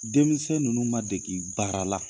Denmisɛn ninnu ma degi baara la.